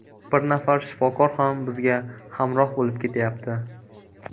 Bir nafar shifokor ham bizga hamroh bo‘lib ketayapti.